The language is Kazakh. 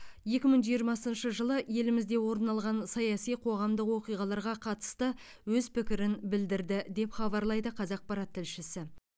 екі мың жиырмасыншы жылы елімізде орын алған саяси қоғамдық оқиғаларға қатысты өз пікірін білдірді деп хабарлайды қазақпарат тілшісі